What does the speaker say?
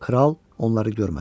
Kral onları görmədi.